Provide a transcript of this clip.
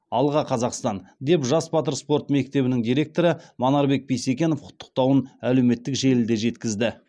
алға қазақстан деп жас батыр спорт мектебінің директоры манарбек бисекенов құттықтауын әлеуметтік желіде жеткізді